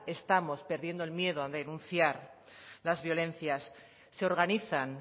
estamos perdiendo el miedo a denunciar las violencias se organizan